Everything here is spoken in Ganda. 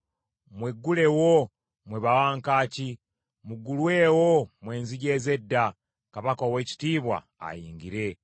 Mweggulewo, mmwe bawankaaki, muggulwewo mmwe enzigi ez’edda! Kabaka ow’ekitiibwa ayingire.